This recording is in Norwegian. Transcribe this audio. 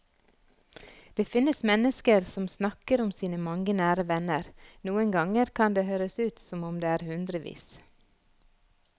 Det finnes mennesker som snakker om sine mange nære venner, noen ganger kan det høres ut som om det er hundrevis.